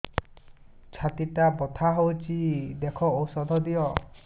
ଛାତି ଟା ବଥା ହଉଚି ଦେଖ ଔଷଧ ଦିଅ